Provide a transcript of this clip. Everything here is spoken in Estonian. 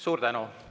Suur tänu!